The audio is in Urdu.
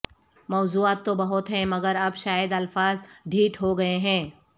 موضاعات تو بہت ہیں مگر اب شاید الفاظ ڈھیٹ ہو گئے ہیں